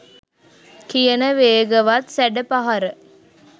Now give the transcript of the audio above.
කියන වේගවත් සැඩ පහර